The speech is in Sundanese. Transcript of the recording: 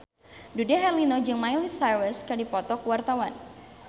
Dude Herlino jeung Miley Cyrus keur dipoto ku wartawan